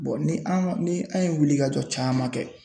ni an ni an ye wulikajɔ caman kɛ.